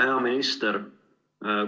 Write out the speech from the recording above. Hea minister!